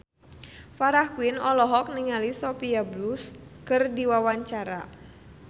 Farah Quinn olohok ningali Sophia Bush keur diwawancara